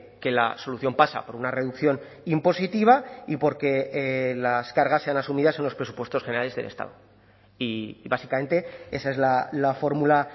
que la solución pasa por una reducción impositiva y por que las cargas sean asumidas en los presupuestos generales del estado y básicamente esa es la fórmula